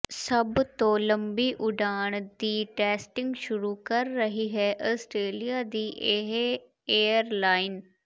ਸਭ ਤੋਂ ਲੰਬੀ ਉਡਾਣ ਦੀ ਟੈਸਟਿੰਗ ਸ਼ੁਰੂ ਕਰ ਰਹੀ ਹੈ ਆਸਟ੍ਰੇਲੀਆ ਦੀ ਇਹ ਏਅਰਲਾਈਨ